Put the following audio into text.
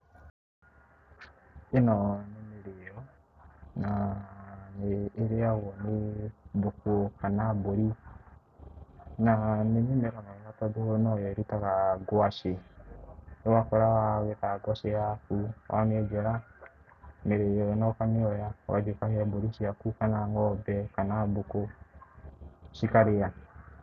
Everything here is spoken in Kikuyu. Ĩno nĩ mĩrĩo na nĩ ĩriagwo nĩ ngũkũ kana mbũri na nĩ mĩmera mĩega tondũ nĩyo ĩrutaga ngwacĩ, ũgakora wagetha ngwacĩ yaku, wamienjera mirio ino ukamioya ugathĩe ũkahe mbori ciaku kana ngombe kana ngũku cikarĩa,